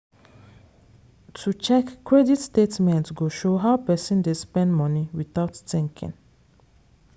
to check credit statement go show how person dey spend money without thinking.